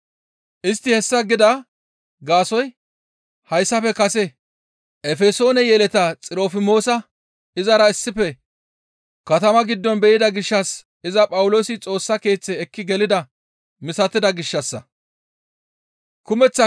Istti hessa gida gaasoykka hayssafe kase Efesoone yeleta Xirofimoosa izara issife katama giddon be7ida gishshas iza Phawuloosi Xoossa Keeththe ekki gelida misatida gishshassa.